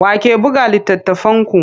Wa ke buga littattafanku?